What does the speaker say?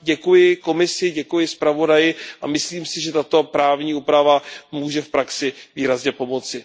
děkuji Komisi, děkuji zpravodaji a myslím si, že tato právní úprava může v praxi výrazně pomoci.